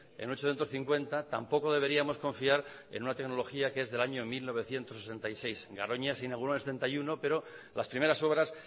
en un ochocientos cincuenta tampoco deberíamos confiar en una tecnología que es del año mil novecientos sesenta y seis garoña se inauguro en el setenta y uno pero las primeras obras